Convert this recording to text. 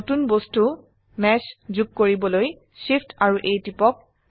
নতুন বস্তু মেশ যোগ কৰিবলৈ Shift এএমপি A টিপক